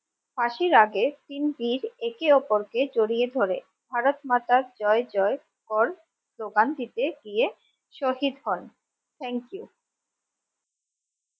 ফাঁসির আগে তিন বীর একে অপরকে জড়িয়ে ধরে ভারত মাতার জয় জয় কল স্লোগান দিতে গিয়ে শহীদ হন thank you